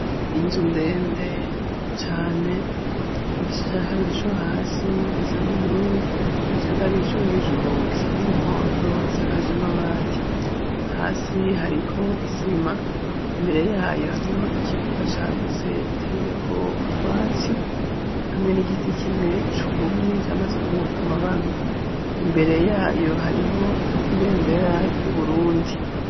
Inzu ndende cyane igice cya kabiri co hasi gisana ubururu cya kabiri co hejuru gisana umuhondo isakaj amabati hasi hariko isima imbere yayo hariho ikibuga cagutse giteye ko utwatsi hamwe n'igiti kimwe cubumye cyamaze kunkuruka amababi imbere yayo hariho ibendera ry'uburundi.